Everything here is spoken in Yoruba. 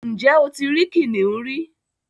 Ǹjẹ́ o ti rí kìnnìún rí?